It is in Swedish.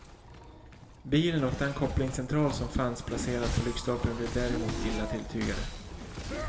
Bilen och den kopplingscentral som fanns placerad på lyktstolpen blev däremot illa tilltygade.